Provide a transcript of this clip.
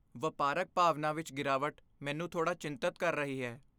ਵਪਾਰਕ ਭਾਵਨਾ ਵਿੱਚ ਗਿਰਾਵਟ ਮੈਨੂੰ ਥੋੜ੍ਹਾ ਚਿੰਤਤ ਕਰ ਰਹੀ ਹੈ।